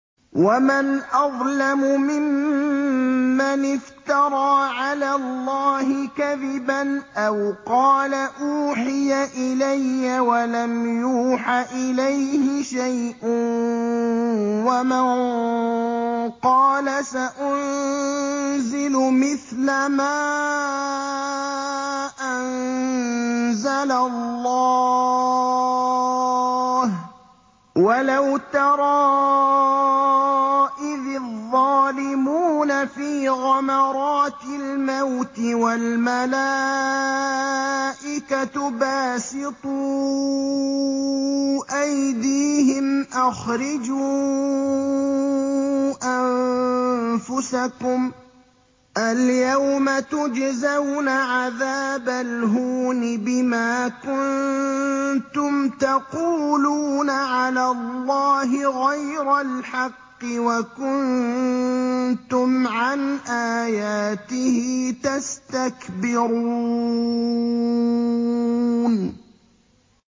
وَمَنْ أَظْلَمُ مِمَّنِ افْتَرَىٰ عَلَى اللَّهِ كَذِبًا أَوْ قَالَ أُوحِيَ إِلَيَّ وَلَمْ يُوحَ إِلَيْهِ شَيْءٌ وَمَن قَالَ سَأُنزِلُ مِثْلَ مَا أَنزَلَ اللَّهُ ۗ وَلَوْ تَرَىٰ إِذِ الظَّالِمُونَ فِي غَمَرَاتِ الْمَوْتِ وَالْمَلَائِكَةُ بَاسِطُو أَيْدِيهِمْ أَخْرِجُوا أَنفُسَكُمُ ۖ الْيَوْمَ تُجْزَوْنَ عَذَابَ الْهُونِ بِمَا كُنتُمْ تَقُولُونَ عَلَى اللَّهِ غَيْرَ الْحَقِّ وَكُنتُمْ عَنْ آيَاتِهِ تَسْتَكْبِرُونَ